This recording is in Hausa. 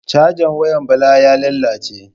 Cajan wayan Bala ya lalace.